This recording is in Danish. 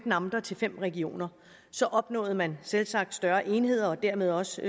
amter til fem regioner opnåede man selvsagt større enheder og dermed også